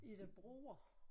Er der broer?